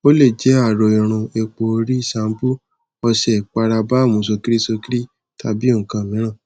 o le jẹ aro irun epo ori cs] shampoo ọṣẹ ipara balm sokiri sokiri tabi nkan miiran